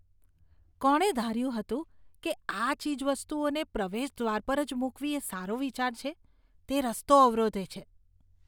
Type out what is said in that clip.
કોણે ધાર્યું હતું કે આ ચીજવસ્તુઓને પ્રવેશદ્વાર પર જ મૂકવી એ સારો વિચાર છે? તે રસ્તો અવરોધે છે.